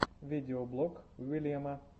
видеоблог уильяма